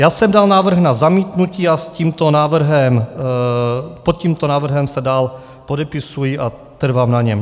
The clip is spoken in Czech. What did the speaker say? Já jsem dal návrh na zamítnutí a pod tímto návrhem se dál podepisuji a trvám na něm.